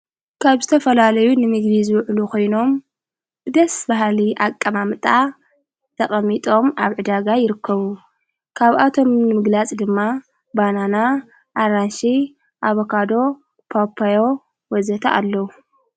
ካብ ዝተ ፈላለዩ ንሚግሪ ዝውዕሉ ኾይኖም ብደስ ባሃሊ ኣቀማምጣእ ተቐሚጦም ኣብ ዕዳጋ ይርከቡ ካብኣቶም ንምግላጽ ድማ ባናና ኣራንሽ ኣበካዶ ጳኮዮ ወዘተ ኣለዉ።